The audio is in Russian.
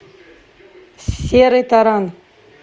серый таран